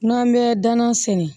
N'an bɛ danan sɛnɛ